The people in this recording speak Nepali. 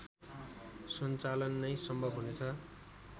सञ्चालन नै सम्भव हुनेछ